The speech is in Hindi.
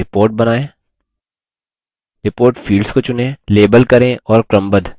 एक report बनाएँ report fields को चुनें label करें और क्रमबद्ध यानि sort करें